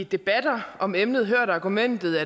debatter om emnet hørt argumentet